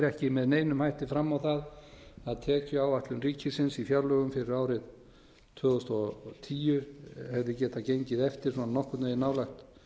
ekki með neinum hætti fram á það að tekjuáætlun ríkisins í fjárlögum fyrir árið tvö þúsund og tíu hefði getað gengið eftir svona nokkurn veginn nálægt